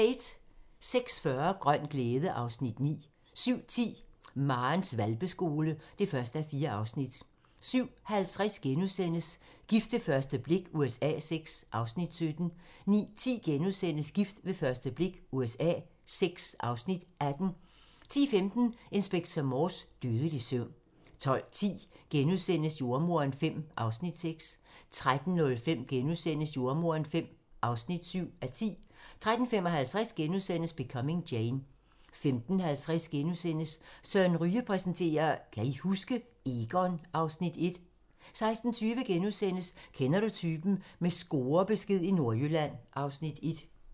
06:40: Grøn glæde (Afs. 9) 07:10: Marens hvalpeskole (1:4) 07:50: Gift ved første blik USA VI (Afs. 17)* 09:10: Gift ved første blik USA VI (Afs. 18)* 10:15: Inspector Morse: Dødelig søvn 12:10: Jordemoderen V (6:10)* 13:05: Jordemoderen V (7:10)* 13:55: Becoming Jane * 15:50: Søren Ryge præsenterer: Kan I huske? - Egon (Afs. 1)* 16:20: Kender du typen? - med scorebesked i Nordjylland (Afs. 1)*